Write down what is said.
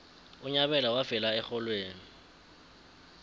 unyabela wafela exholweni